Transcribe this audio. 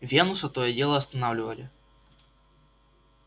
венуса то и дело останавливали